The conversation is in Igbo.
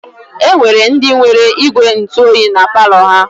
E nwere ndị nwere ígwèntụoyi na palọ ha.